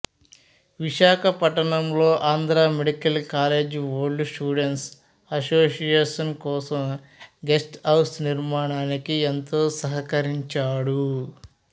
విశాఖపట్నంలో Andhra medical college old students association కోసం guest house నిర్మాణానికి ఎంతో సహకరించాడు